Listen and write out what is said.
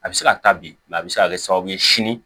A bɛ se ka taa bilen a bɛ se ka kɛ sababu ye sini